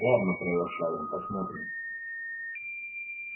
ладно проворчал он посмотрим